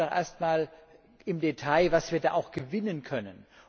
Schauen wir doch erst einmal im Detail, was wir da auch gewinnen können.